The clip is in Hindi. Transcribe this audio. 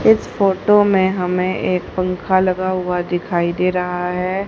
इस फोटो में हमें एक पंख लगा हुआ दिखाई दे रहा है।